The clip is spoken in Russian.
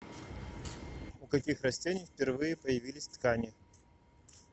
у каких растений впервые появились ткани